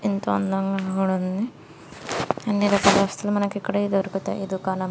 ఎంతో అందంగా కూడా ఉంది. అన్ని రకాల వస్తువులు మనకి ఇక్కడే దొరుకుతాయి ఈ దుకాణం --